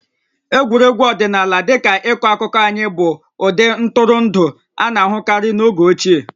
Egwuregwu ọdịnala dị ka ịkọ akụkọ anyị bụ ụdị ntụrụndụ a na-ahụkarị n'oge ochieq